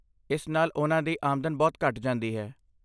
ਇਸ ਨਾਲ ਉਨ੍ਹਾਂ ਦੀ ਆਮਦਨ ਬਹੁਤ ਘੱਟ ਜਾਂਦੀ ਹੈ।